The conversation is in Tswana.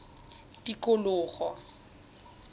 tikologo